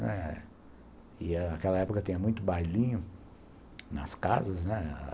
Naquela época tinha muito bailinho nas casas, né.